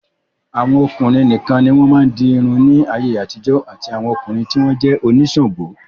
Àwọn obìnrin nìkan ni wọ́n máa ń di irun ní ayé àtijọ́ àfi àwọn ọkùnrin tí wọ́n jẹ́ oníṣàǹgó.